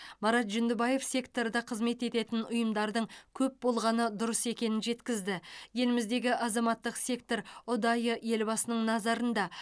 марат жүндібаев секторда қызмет ететін ұйымдардың көп болғаны дұрыс екенін жеткізді еліміздегі азаматтық сектор ұдайы елбасының назарында